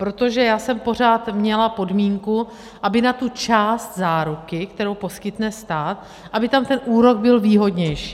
Protože já jsem pořád měla podmínku, aby na tu část záruky, kterou poskytne stát, aby tam ten úrok byl výhodnější.